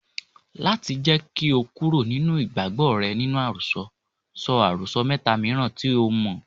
Láti jẹ́ kí o kúrò nínú ìgbàgbọ́ rẹ nínú àròsọ, sọ àròsọ mẹ́ta mìíràn tí o mọ̀.